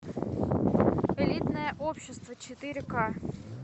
элитное общество четыре ка